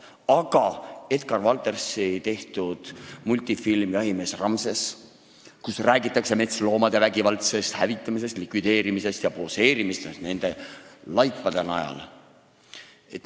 Aga Edgar Valteri raamatu põhjal tehtud multifilmis, mis räägib jahikoer Ramsesest, on metsloomade vägivaldne hävitamine, likvideerimine ja nende laipade najal poseerimine.